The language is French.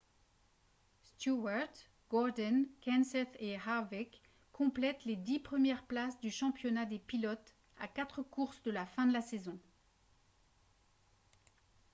stewart gordon kenseth et harvick complètent les dix premières places du championnat des pilotes à quatre courses de la fin de la saison